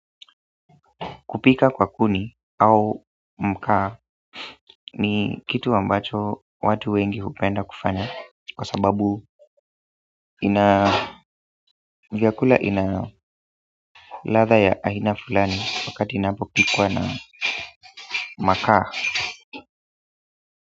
Kupika kwa kuni au mkaa ni kitu ambacho watu wengi hupenda kufanya kwa sababu ina vyakula ina ladha ya aina fulani wakati inapopikwa na makaa.